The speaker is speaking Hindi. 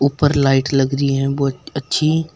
ऊपर लाइट लगा रही है बहोत अच्छी।